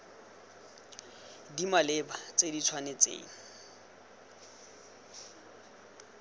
di maleba tse di tshwanetseng